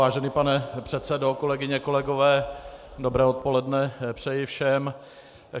Vážený pane předsedo, kolegyně, kolegové, dobré odpoledne, přeji všem.